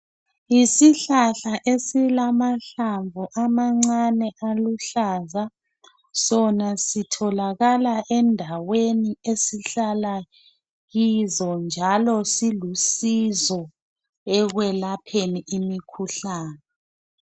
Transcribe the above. Yisihlahla esilamahlamvu amancane aluhlaza sona sitholakala endaweni esihlala kizo njalo silusizo ekwelapheni imikhuhlane